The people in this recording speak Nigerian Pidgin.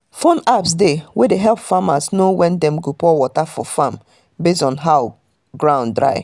phone apps dey wey de help farmers know when dem go pour water for farm base on how ground dry